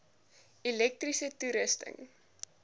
elektriese toerusting